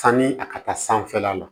Sanni a ka taa sanfɛla la